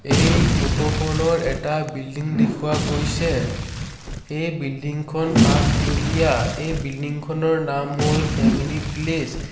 এই ফটো খনৰ এটা বিল্ডিং দেখুওৱা গৈছে এই বিল্ডিং খন পাঁচতলীয়া এই বিল্ডিং খনৰ নাম হ'ল ফেমেলি প্লেচ ।